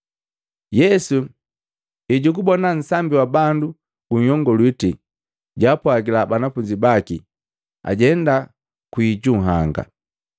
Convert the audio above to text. Yesu ejugubona nsambi wa bandu gunhyongaliti, jaapwagila banafunzi baki ajenda kwii ju nhanga.